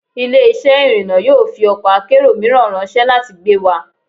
Ile-iṣẹ irinna yoo fi ọkọ akero miiran ranṣẹ lati gbe wa